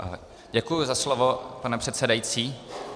Děkuji za slovo, pane předsedající.